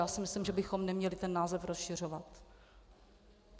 Já si myslím, že bychom neměli ten název rozšiřovat.